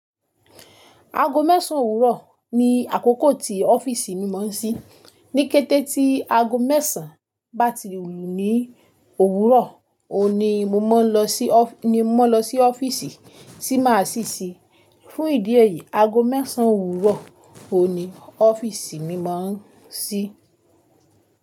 Aago mẹ́sàn owurọ̀ ni àkókò tí ọ́fíìsì mi máa ń ṣí. Ní kété tí aago mẹ́sàn bá ti lù ní òwúrọ̀, òun ni mo máa ń lọ sí ọ́fíìsì tí máa ṣí ṣí. Fún ìdí èyí, aago mẹ́sàn owurọ̀ òun ni ofíìsì mi máa ń ṣí.